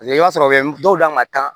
Paseke i b'a sɔrɔ u bɛ dɔw d'a ma kan